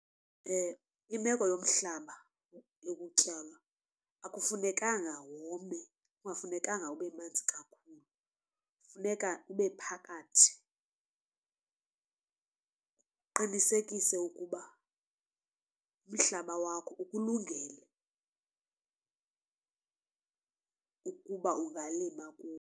Imeko yomhlaba yokutyalwa akufunekanga wome kungafunekanga ube manzi kakhulu, funeka ube phakathi. Uqinisekise ukuba ukuba umhlaba wakho ukulungele ukuba ungalima kuwo.